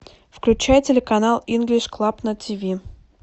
включай телеканал инглиш клаб на тв